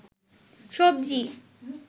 সবজি